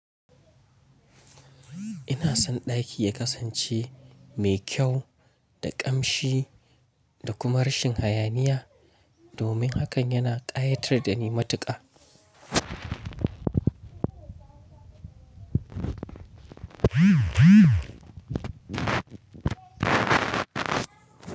Ina son ɗaki ya kasance mai kyau da ƙamshi da kuma rashin hayaniya, domin hakan yana ƙayatar da ni matuƙa.